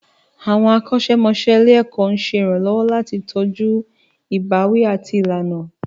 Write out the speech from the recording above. Àwọn akọ́ṣẹ́mọṣẹ́ ilé-ẹ̀kọ́ ń ṣe ìrànlọ́wọ́ láti tọ́jú ìbáwí àti ìlànà.